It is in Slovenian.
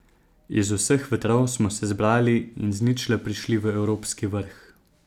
Iz vseh vetrov smo se zbrali in z ničle prišli v evropski vrh.